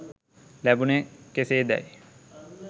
ලැබුණේ කෙසේදැයි